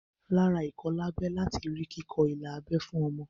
Lára ìkọlábẹ lati rí kíkọ ilà abẹ́ fún ọmọ